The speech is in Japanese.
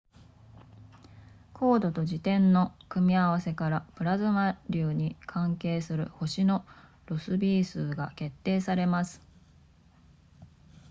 光度と自転の組み合わせからプラズマ流に関係する星のロスビー数が決定されます